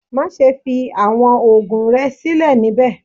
Maṣe fi awọn oogun rẹ silẹ nibẹ!